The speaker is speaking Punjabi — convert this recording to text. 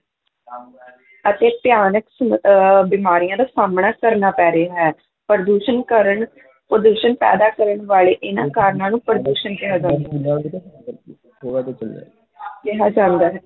ਅਤੇ ਭਿਆਨਕ ਅਹ ਬਿਮਾਰੀਆਂ ਦਾ ਸਾਹਮਣਾ ਕਰਨਾ ਪੈ ਰਿਹਾ ਹੈ, ਪ੍ਰਦੂਸ਼ਣ ਕਾਰਨ ਪ੍ਰਦੂਸ਼ਣ ਪੈਦਾ ਕਰਨ ਵਾਲੇ ਇਹਨਾਂ ਕਾਰਨਾਂ ਨੂੰ ਪ੍ਰਦੂਸ਼ਣ ਕਿਹਾ ਕਿਹਾ ਜਾਂਦਾ ਹੈ।